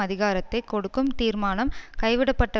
அதிகாரத்தை கொடுக்கும் தீர்மானம் கைவிடப்பட்ட